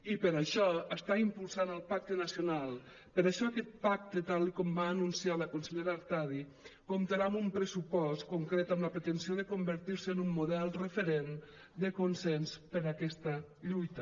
i per això està impulsant el pacte nacional per això aquest pacte tal com va anunciar la consellera artadi comptarà amb un pressupost concret amb la pretensió de convertir se en un model referent de consens per a aquesta lluita